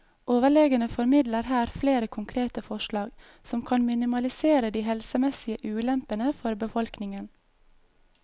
Overlegene formidler her flere konkrete forslag som kan minimalisere de helsemessige ulempene for befolkningen.